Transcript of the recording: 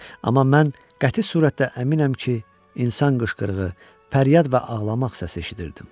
Amma mən qəti surətdə əminəm ki, insan qışqırığı, fəryad və ağlamaq səsi eşidirdim.